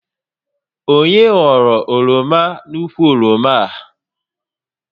Onye ghọrọ oroma n'ukwu oroma a?